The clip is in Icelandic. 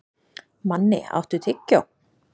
Manni, áttu tyggjó?